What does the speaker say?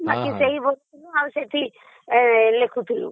ବାକି ସେଇ ସେଠି ଲେଖୁଥିଲୁ